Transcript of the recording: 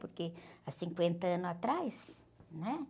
Porque há cinquenta anos atrás, né?